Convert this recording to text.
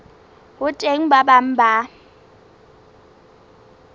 ho teng ba bang ba